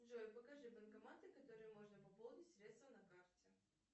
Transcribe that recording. джой покажи банкоматы которые можно пополнить средства на карте